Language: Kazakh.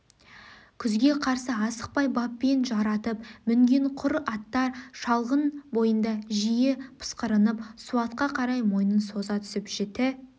күзге қарсы асықпай баппен жаратып мінген құр аттар шалғын бойында жиі пысқырынып суатқа қарай мойын соза түсіп жіті